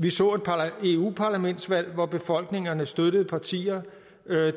vi så et eu parlamentsvalg hvor befolkningerne støttede partier